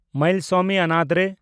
Mayilsamy Annadurai